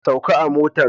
Sauka a motan.